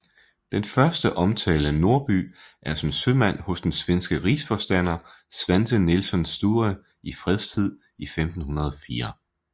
Den første omtale af Norby er som sømand hos den svenske rigsforstander Svante Nilsson Sture i fredstid i 1504